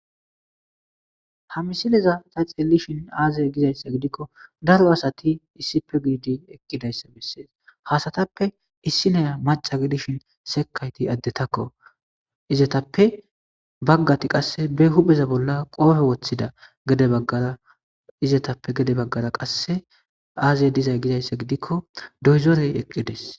ha misileza ta xeellishin aazey gizayssa gidikko daro asati issipe giidi eqqidayssa bessees hasatappe issineya maca gidishin sekayti addetakko izetappe baggati qasse be hupeza bolla qoofe woththida gede baggara izetappe gede baggara qasse aazey dizay gizayssa gidikko doyzorey eqqides